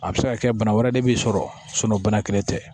A bɛ se ka kɛ bana wɛrɛ de b'i sɔrɔ bana kelen tɛ